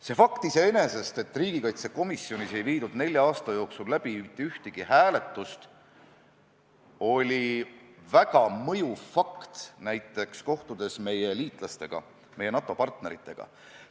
See fakt iseenesest, et riigikaitsekomisjonis ei olnud nelja aasta jooksul mitte ühtegi hääletust, oli väga mõjuv fakt näiteks kohtudes meie liitlastega, NATO-partneritega.